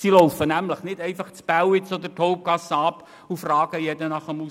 Die laufen nicht einfach das Bälliz, die Hauptgasse, runter und fragen jeden nach dem Ausweis.